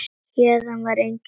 Héðan var engin leið út.